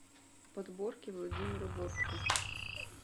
подборки владимира бортко